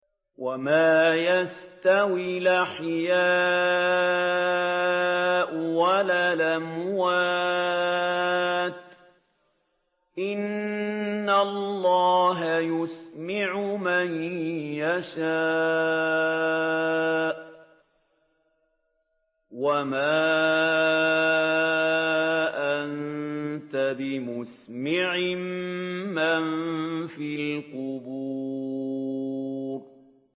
وَمَا يَسْتَوِي الْأَحْيَاءُ وَلَا الْأَمْوَاتُ ۚ إِنَّ اللَّهَ يُسْمِعُ مَن يَشَاءُ ۖ وَمَا أَنتَ بِمُسْمِعٍ مَّن فِي الْقُبُورِ